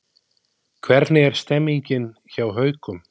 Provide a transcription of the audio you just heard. Hvernig er stemningin hjá Haukum?